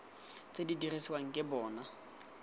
tse di dirisiwang ke bona